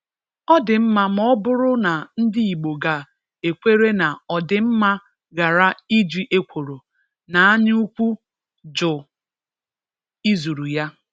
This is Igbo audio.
Ọdị mma ma ọ bụrụ na ndị igbo ga ekwere na ọdị mma ghara iji ekworo na anya ukwu jụ izuru ya.